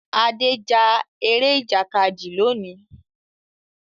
Ade já Eré Ìjàkadì lóni.